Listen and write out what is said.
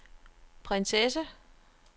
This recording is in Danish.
prinsesse